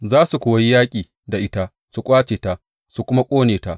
Za su kuwa yi yaƙi da ita, su ƙwace ta su kuma ƙone ta.